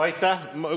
Aitäh!